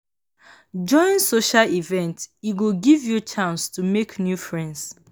Join social events, e go give you chance to make new friends.